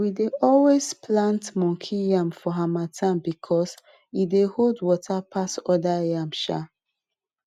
we dey always plant monkey yam for harmattan because e dey hold water pass other yam um